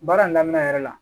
Baara in daminɛ yɛrɛ la